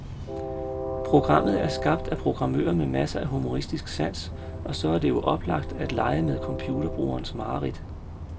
Programmet er skabt af programmører med masser af humoristisk sans, og så er det jo oplagt at lege med computerbrugerens mareridt.